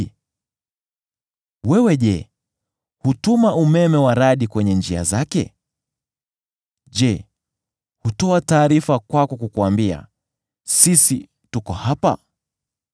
Je, wewe hutuma umeme wa radi kwenye njia zake? Je, hutoa taarifa kwako kukuambia, ‘Sisi tuko hapa’?